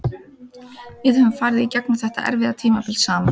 Við höfum farið í gegnum þetta erfiða tímabil saman.